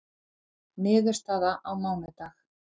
Niðurstaða á mánudag